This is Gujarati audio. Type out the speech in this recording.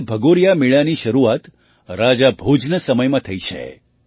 કહે છે કે ભગોરિયા મેળાની શરૂઆત રાજા ભોજના સમયમાં થઈ છે